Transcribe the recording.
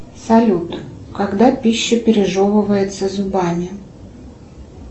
салют когда пища пережевывается зубами